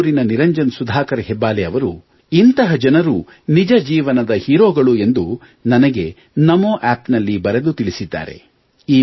ಬೆಂಗಳೂರಿನ ನಿರಂಜನ್ ಸುಧಾಕರ್ ಹೆಬ್ಬಾಲೆ ಅವರು ಇಂತಹ ಜನರು ನಿಜ ಜೀವನದ ಹೀರೋಗಳು ಎಂದು ನನಗೆ ನಮೋ ಅಪ್ ನಲ್ಲಿ ಬರೆದು ತಿಳಿಸಿದ್ದಾರೆ